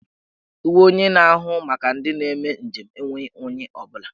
Uwe onye na-ahụ maka ndị na-eme njem enweghi unyi ọ bụla.